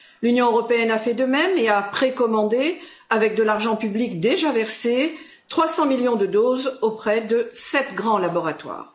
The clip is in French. L'Union européenne a fait de même et a précommandé, avec de l'argent public déjà versé, 300 millions de doses auprès de sept grands laboratoires.